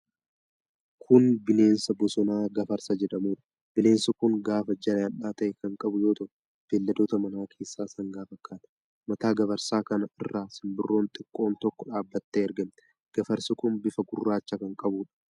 Kun bineensa bosonaa Gafarsa jedhamuudha. Bineensi kun gaafa jajal'aa ta'e kan qabu yoo ta'u, beelladoota manaa keessaa sangaa fakkaata. Mataa gafarsa kanaa irra simbirroon xiqqoon tokko dhaabattee argamti. Gafarsi kun bifa gurraacha kan qabuudha.